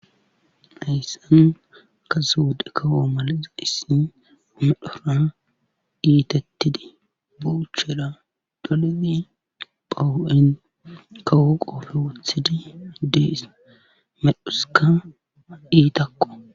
Hayssan kase wodhe kawoo malazadhissi omedhora diiitettidi boucheda dolemi phowu7en kawo qoofe wothidi dees medhuska diitakko